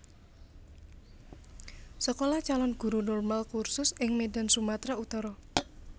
Sekolah Calon Guru Normaal Cursus ing Medan Sumatra Utara